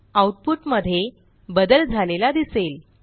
आऊटपुटमध्ये बदल झालेला दिसेल